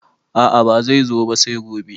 A`a bai zo ba sai gobe